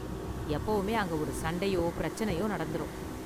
எப்பவுமே அங்க ஒரு சண்டையோ பிரச்சனையோ நடந்துரும்.